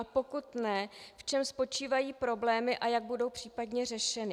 A pokud ne, v čem spočívají problémy a jak budou případně řešeny?